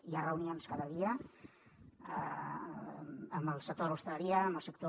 hi ha reunions cada dia amb el sector de l’hostaleria amb el sector